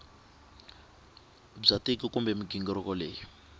bya tiko kumbe mighingiriko leyi